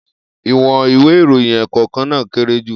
Iwọn ìwé íròyìn ẹ́ẹ́kọ̀kan naa kere ju.